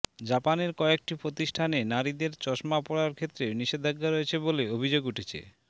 জাপানের কয়েকটি প্রতিষ্ঠানে নারীদের চশমা পড়ার ক্ষেত্রে নিষেধাজ্ঞা রয়েছে বলে অভিযোগ উঠেছে